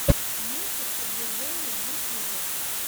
мультик продвижения в ютьюбе